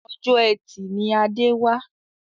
Ọjọ́ etì ni Adé wà